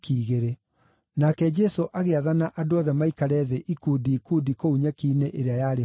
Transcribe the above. Nake Jesũ agĩathana andũ othe maikare thĩ ikundi ikundi kũu nyeki-inĩ ĩrĩa yarĩ ho nduru.